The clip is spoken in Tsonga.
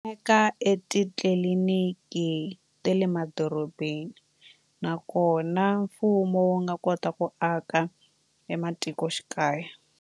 Eka etitliliniki ta le madorobeni nakona mfumo wu nga kota ku aka ematikoxikaya.